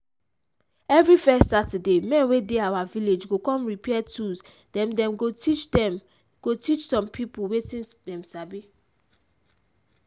every first saturday men wey dey our village go come repair tools then them go teach them go teach some people wetin them sabi.